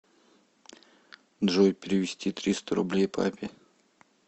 джой перевести триста рублей папе